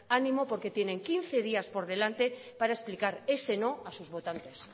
ánimo porque tienen quince días por delante para explicar ese no a sus votantes